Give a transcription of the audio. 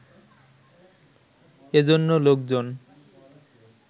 এ জন্য লোকজন